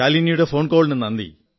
ശാലിനിയുടെ phone കോളിനു നന്ദി